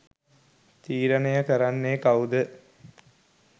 තීරණය කරන්නෙ කවුද.